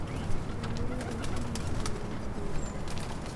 Beeralayda waa in ay daryeelaan deegaanka.